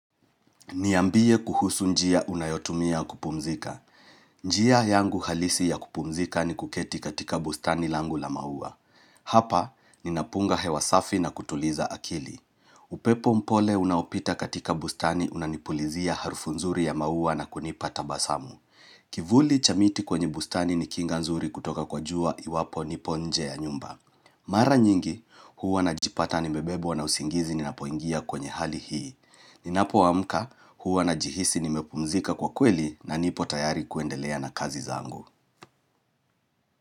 Niambie kuhusu njia unayotumia kupumzika. Njia yangu halisi ya kupumzika ni kuketi katika bustani langu la maua. Hapa, ninapunga hewasafi na kutuliza akili. Upepo mpole unaopita katika bustani unanipulizia harfu nzuri ya maua na kunipata basamu. Kivuli chamiti kwenye bustani ni kinga nzuri kutoka kwa jua iwapo nipo nje ya nyumba. Mara nyingi huwa na jipata ni bebwa na usingizi ni napoingia kwenye hali hii Ninapo amka huwa na jihisi ni mepumzika kwa kweli na nipo tayari kuendelea na kazi zangu.